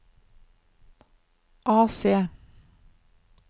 AC